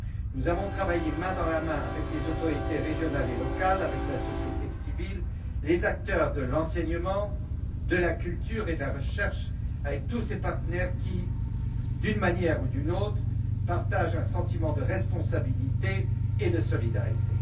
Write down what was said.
Nous avons travaillé main dans la main avec les autorités régionales et locales, la société civile, les acteurs de l'enseignement, de la culture et de la recherche, tous ces partenaires qui, d'une manière ou d'une autre, partagent un sentiment de responsabilité et de solidarité.